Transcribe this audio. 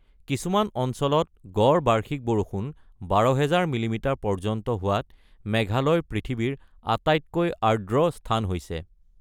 কিছুমান অঞ্চলত গড় বাৰ্ষিক বৰষুণ ১২,০০০ মিলিমিটাৰ পৰ্যন্ত হোৱাত মেঘালয় পৃথিৱীৰ আটাইতকৈ আৰ্দ্ৰ স্থান হৈছে৷